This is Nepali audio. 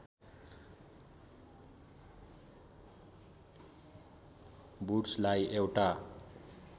वुड्सलाई एउटा